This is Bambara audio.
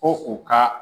Ko u ka